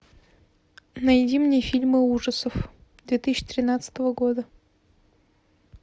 найди мне фильмы ужасов две тысячи тринадцатого года